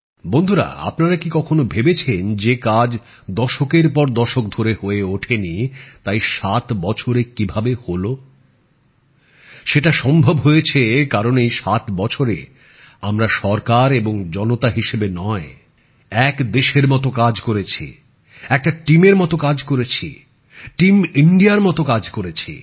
বন্ধুরা আপনারা কি কখনও ভেবেছেন যে কাজ দশক দশক ধরে হয়ে ওঠেনি তা এই ৭ বছরে কিভাবে হলো সেটা সম্ভব হয়েছে কারণ এই ৭ বছরে আমরা সরকার এবং জনতা হিসেবে নয় সারা দেশে এক হয়ে কাজ করেছি একটা টিম এর মতো কাজ করেছি টিম ইন্ডিয়ার মতো কাজ করেছি